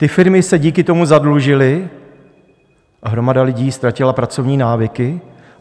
Ty firmy se díky tomu zadlužily, navíc hromada lidí ztratila pracovní návyky.